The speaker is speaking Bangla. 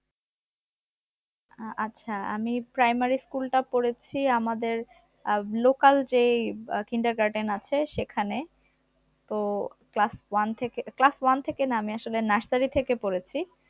আহ আচ্ছা আমি primary school টা পড়েছি আমাদের আহ local যে আহ কিন্ডারগার্ডেন আছে সেখানে, তো class one থেকে class one থেকে না আমি আসলে nursery থেকে পড়েছি